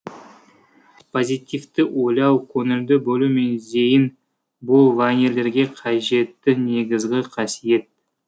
позитивті ойлау көңілді болу мен зейін бұл вайнерлерге қажетті негізгі қасиет